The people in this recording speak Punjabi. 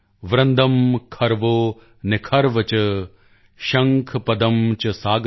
ਵ੍ਰਿੰਦੰ ਖਰਵੋ ਨਿਖਰਵ ਚ ਸ਼ੰਖ ਪਦ੍ਮ ਚ ਸਾਗਰ